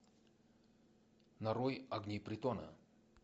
нарой огни притона